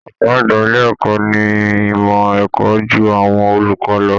Ọ̀gá àgbà ilé ẹ̀kọ́ ní ìmọ̀ ẹ̀kọ́ ju àwọn olùkọ́ lọ